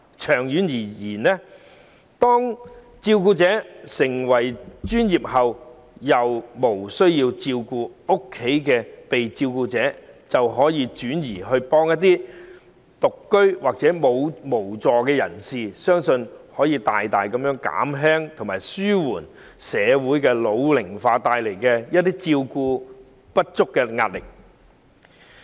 長遠而言，當照顧者變得專業，便可在日後無須照顧家中被照顧者的日子，幫助一些獨居或無助人士，相信這將有助大大紓緩社會老齡化帶來照顧不足的壓力。